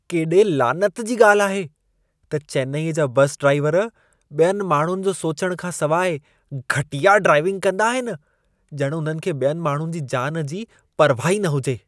केॾे लानत जी ॻाल्हि आहे त चेन्नई जा बस ड्राइवर ॿियनि माण्हुनि जो सोचण खां सवाइ घटिया ड्राइविंग कंदा आहिनि। ॼण उन्हनि खे ॿियनि माण्हुनि जी जान जी परवाह ई न हुजे।